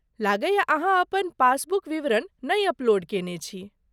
लगैए अहाँ अपन पासबुक विवरण नै अपलोड केने छी।